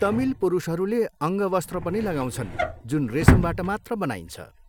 तमिल पुरुषहरूले अङ्गवस्त्र पनि लगाउँछन् जुन रेसमबाट मात्र बनाइन्छ।